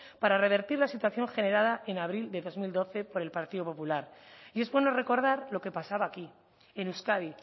para revertir la situación generada en abril del dos mil doce por el partido popular y es bueno recordar lo que pasaba aquí en euskadi